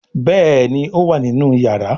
Béèni o wá nínú iyàrá.